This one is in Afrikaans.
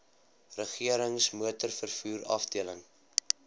regerings motorvervoer afdeling